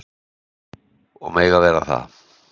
Og mega vera það.